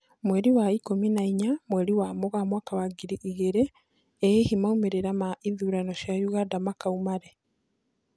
Mweri wa ikũmi na inya, mweri wa Mũgaa mwaka wa ngiri igĩrĩ , ĩ hihi maumĩrĩra ma ithurano cia Uganda makauma rĩ